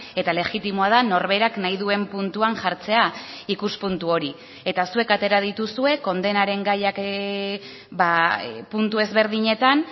eta legitimoa da norberak nahi duen puntuan jartzea ikuspuntu hori eta zuek atera dituzue kondenaren gaiak puntu ezberdinetan